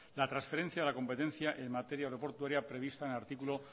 la transferencia de la competenecia en materia aeroportuaria prevista en el artículo